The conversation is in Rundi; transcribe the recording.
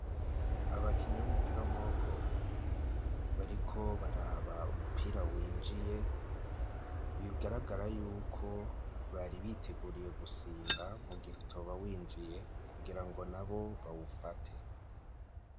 Abakinyi b'umupira w’amaboko, bariko baraba umupira winjiye, bigaragara yuko bari biteguriye gusimba mu gihe utoba winjiye kugira ngo nabo bawufate.